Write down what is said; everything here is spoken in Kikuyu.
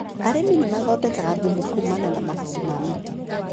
Arĩmi nĩmathondekaga thumu kumana na mahuti ma mĩti.